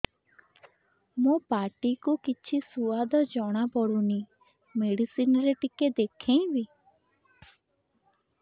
ମୋ ପାଟି କୁ କିଛି ସୁଆଦ ଜଣାପଡ଼ୁନି ମେଡିସିନ ରେ ଟିକେ ଦେଖେଇମି